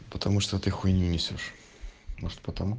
потому что ты хуйню несёшь может потому